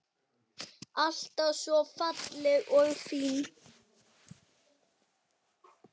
Alltaf svo falleg og fín.